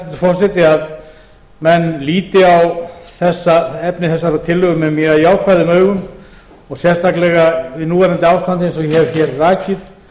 forseti að menn líti á efni þessarar tillögu með mjög jákvæðum augum og sérstaklega við núverandi ástand eins og ég hef hér rakið